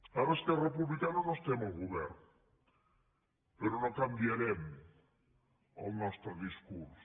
ara esquerra republicana no estem al govern però no canviarem el nostre discurs